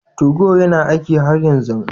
Tugo yana aiki har yanzu?